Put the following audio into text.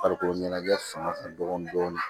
Farikolo ɲɛnajɛ fanga ka bon dɔɔni dɔɔni